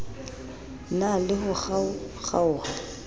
na le ho kgaokg aoha